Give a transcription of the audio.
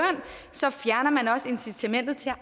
så fjerner man også incitamentet til at